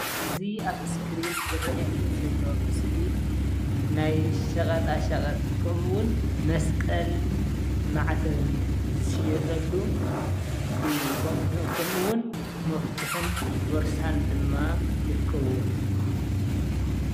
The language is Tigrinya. እዚ ኣብ እስክሪን ዝረኣየኒ ዘሎ ምስሊ ናይ ሸቀጣ ሸቀጥ ከምኡ እዉን መስቀልን ማዕተብን ዝሽየጠሉ እዩ። ከምኡ እዉን መፍትሕን ቦርሳን ድማ ይርከብዎ።